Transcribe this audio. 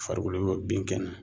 Farikolo binkɛnɛ